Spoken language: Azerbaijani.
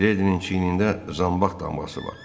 Miledinin çiynində zambaq damğası var.